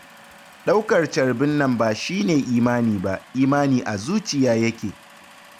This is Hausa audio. Ɗaukar carbin nan ba shi ne imani ba, imani a zuci yake